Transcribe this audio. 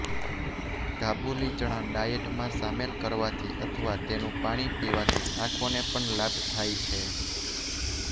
કાબુલી ચણા ડાયટમાં સામેલ કરવાથી અથવા તેનું પાણી પીવાથી આંખોને પણ લાભ થાય છે